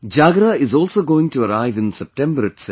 Jagra is also going to arrive in September itself